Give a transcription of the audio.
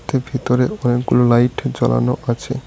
এর ভিতরে অনেকগুলো লাইট জ্বালানো আছে।